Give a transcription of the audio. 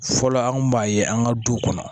Fɔlɔ an kun b'a ye an ka du kɔnɔ